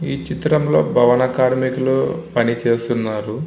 ఈ చిత్రంలో భవన కార్మికులు పనిచేస్తున్నారు.